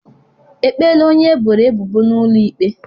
Ekpeela onye eboro ebubo n'ụlọ ikpe?